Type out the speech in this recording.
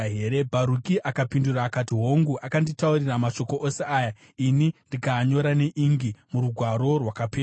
Bharuki akapindura akati, “Hongu, akanditaurira mashoko ose aya, ini ndikaanyora neingi murugwaro rwakapetwa.”